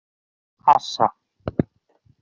Assa